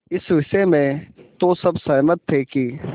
इस विषय में तो सब सहमत थे कि